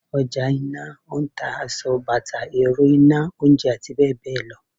Ojà ńlá n ta asọ, bata, erò ina, oúnjẹ ati beẹbeẹ lọ